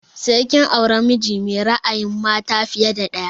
Sai kin auri miji mai ra'ayin mata fiye da ɗaya!